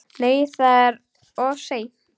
Nei, það er of seint.